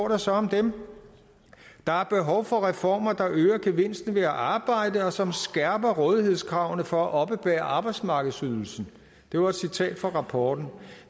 der står om dem der er behov for reformer der øger gevinsten ved at arbejde og som skærper rådighedskravene for at oppebære arbejdsmarkedsydelsen det var et citat fra rapporten